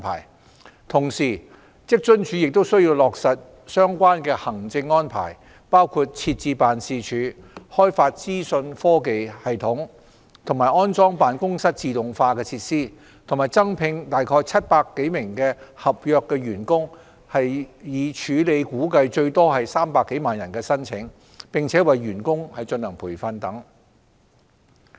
與此同時，職津處亦需落實相關的行政安排，包括設置辦事處，開發資訊科技系統，安裝辦公室自動化設施，以及增聘約700多名合約員工，以處理估計最多約300萬人的申請，並為員工進行培訓等。